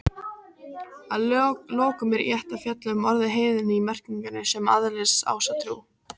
Að lokum er rétt að fjalla um orðið heiðinn í merkingunni sem aðhyllist Ásatrú.